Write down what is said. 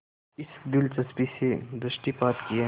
इस दिलचस्पी से दृष्टिपात किया